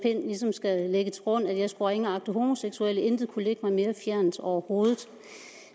ligesom skal lægge til grund at jeg skulle ringeagte homoseksuelle intet kunne ligge mig mere fjernt overhovedet